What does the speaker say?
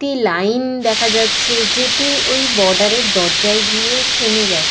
একটি লাইন দেখা যাচ্ছে যেটি ওই বর্ডার এর দরজায় গিয়ে থেমে গেছে।